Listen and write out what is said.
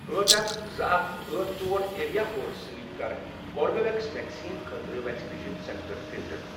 أٹھ، اکھ، زٕ، اکھ، أٹھ، ژور، ایریا کوڈٕ سۭتۍ کر کوربِویٚکس ویکسیٖن خٲطرٕ ویکسِنیشن سینٹر فلٹر۔